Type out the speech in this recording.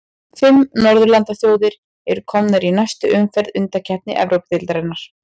Fimm norðurlandaþjóðir eru komnar í næstu umferð undankeppni Evrópudeildarinnar.